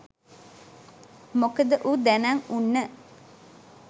මොකද ඌ දැනං උන්න